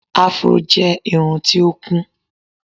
Afro jẹ́ irun tí ó kún.